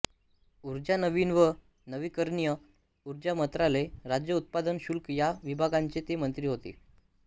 ऊर्जा नवीन व नवीकरणीय ऊर्जा मंत्रालय राज्य उत्पादन शुल्क या विभागांचे ते मंत्री होते